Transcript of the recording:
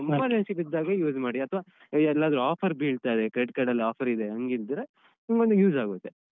Emergency ಬಿದ್ದಾಗ use ಮಾಡಿ ಅಥ್ವ ಎಲ್ಲಾದ್ರು offer ಬೀಳ್ತಾರೆ Credit Card ಅಲ್ಲಿ offer ಇದೆ ಹಂಗಿದ್ರೆ ನಿಮ್ಗೊಂದು use ಆಗುತ್ತೆ.